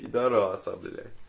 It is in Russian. пидораса блять